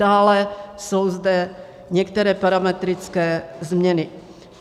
Dále jsou zde některé parametrické změny.